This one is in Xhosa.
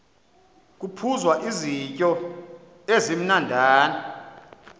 kuphuzwa izityo ezimnandana